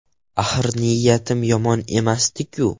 Axir niyatim yomon emasdi-ku?